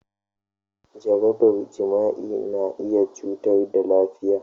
Jaraban jima'i na iya cutar da lafiya.